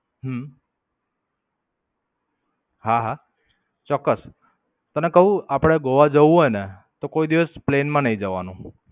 હમ હા, હા. ચોક્કસ. તને કઉં આપડે ગોવા જવું હોય ને તો કોઈ દિવસ plane માં નઈ જવાનું.